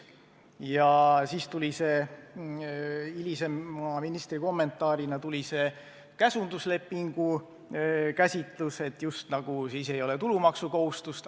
Ja siis tuli ministri kommentaarina see hilisem käsunduslepingu käsitus: et siis just nagu ei ole tulumaksukohustust.